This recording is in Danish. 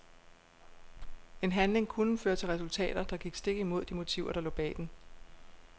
En handling kunne føre til resultater, der gik stik imod de motiver der lå bag den.